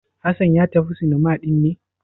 Hassan ya tafi cinema ɗin ne?